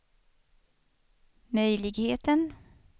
möjligheten